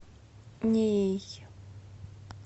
неей